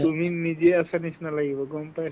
তুমি নিজে আছাৰ নিচিনা লাগিব গম পাই